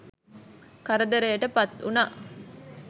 කරදරයට පත්වුණා.